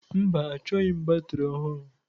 Mba, achọghị m batrị ọhụrụ.